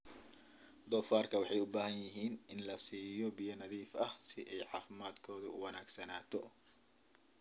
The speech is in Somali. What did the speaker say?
Doofaarka waxay u baahan yihiin in la siiyo biyo nadiif ah si ay caafimaadkoodu u wanaagsanaato.